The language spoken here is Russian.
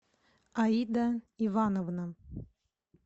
аида ивановна